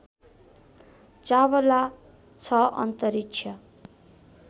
चावला छ अन्तरिक्ष